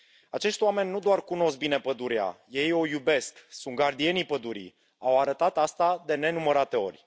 Acești oameni nu doar cunosc bine pădurea, ei o iubesc, sunt gardienii pădurii, au arătat acest lucru de nenumărate ori.